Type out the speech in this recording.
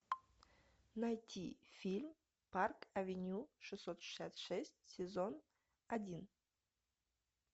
найти фильм парк авеню шестьсот шестьдесят шесть сезон один